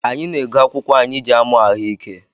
Anyị na-ego akwụkwụ anyị jị amụ ahụike